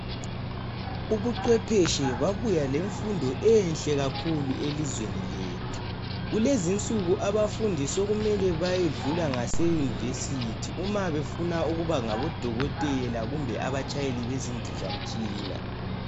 Ubuchwepheshe babuya lemfundo enhle kakhulu elizweni lethu. Kulezi insuku abafundi sokumele bayedlula ngaseYunivesi uma befuna ukuba ngabodokotela kumbe abatshayeli bezindizamtshina .